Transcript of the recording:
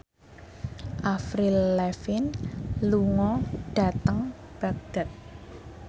Avril Lavigne lunga dhateng Baghdad